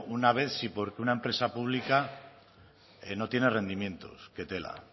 una vez si porque una empresa pública que no tiene rendimientos qué tela